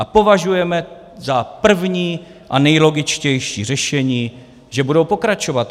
A považujeme za první a nejlogičtější řešení, že budou pokračovat.